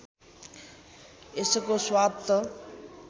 यसको स्वाद त